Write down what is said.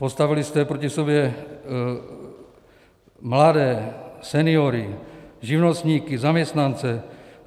Postavili jste proti sobě mladé, seniory, živnostníky, zaměstnance.